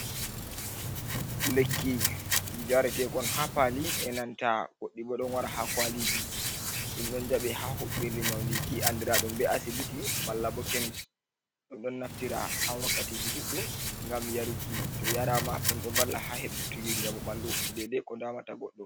lekki yaretekon ha pali e nanta woddi bo don wara ha kwaliji dum don jabi ha hobirli nyaundi ki andradum be asibiti malla bo kemis dum don naftira ha wakkatiji duddum gam yaruki to yarama dum do valla ha hebutugi jamubandu dede ko damata goddo